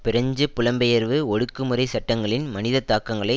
French புலம்பெயர்வு ஒடுக்குமுறை சட்டங்களின் மனித தாக்கங்களை